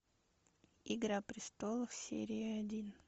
игра престолов серия один